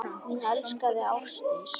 Mín elskaða Ásdís.